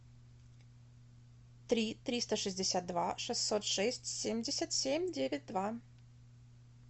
три триста шестьдесят два шестьсот шесть семьдесят семь девять два